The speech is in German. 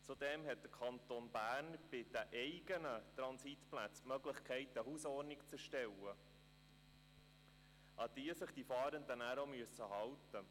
Zudem hat der Kanton Bern die Möglichkeit, für die eigenen Transitplätze eine Hausordnung zu verfassen, an die sich die Fahrenden halten müssen.